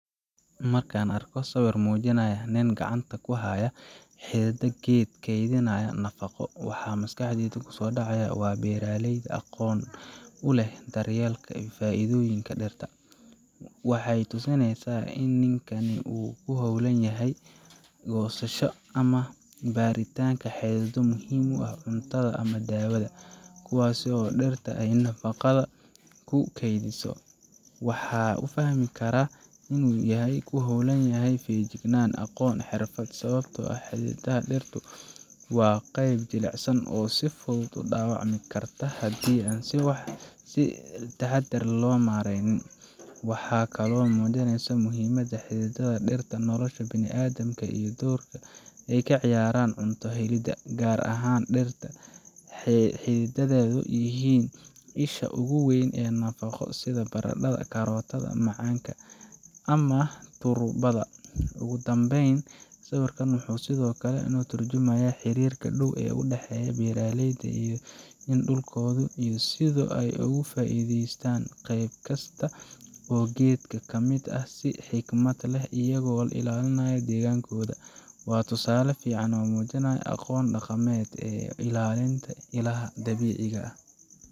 Markaan arko sawir muujinaya nin gacanta ku haya xididda geed kaydinaysa nafaqo, waxa maskaxdayda kusoo dhacaya waa beeraley aqoon u leh daryeelka iyo faa’iidaysiga dhirta. Waxay tusinaysaa in ninkan uu ku hawlan yahay goosashada ama baaritaanka xididdo muhiim u ah cuntada ama daawada, kuwaas oo dhirta ay nafaqada ku kaydisay. Waxaan u fahmayaa inuu yahay hawl u baahan feejignaan, aqoon iyo xirfad, sababtoo ah xididdada dhirtu waa qayb jilicsan oo si fudud u dhaawacmi karta haddii si taxadar ah loo maareyn waayo. Waxay kaloo muujinaysaa muhiimadda xididdada dhirta ee nolosha bini’aadamka iyo doorka ay ka ciyaaraan cunto helidda, gaar ahaan dhirta xididdadeedu yihiin isha ugu weyn ee nafaqo sida baradhada, karootada, macaanka, ama turubada. Ugu dambayn, sawirkan wuxuu sidoo kale ka tarjumayaa xiriirka dhow ee u dhexeeya beeraleyda iyo dhulkooda, iyo sida ay uga faa’iideystaan qayb kasta oo geedka ka mid ah si xikmad leh, iyagoo ilaalinaya deegaankooda. Waa tusaale fiican oo muujinaya aqoon dhaqameedka iyo ilaalinta ilaha dabiiciga ah.